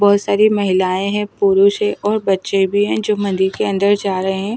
बहुत सारी महिलाएं हैं पुरुष है और बच्चे भी हैं जो मंदिर के अंदर जा रहे हैं।